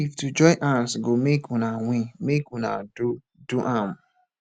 if to join hands go make una win make una do do am